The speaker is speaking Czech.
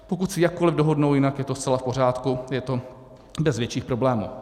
Pokud se jakkoli dohodnou jinak, je to zcela v pořádku, je to bez větších problémů.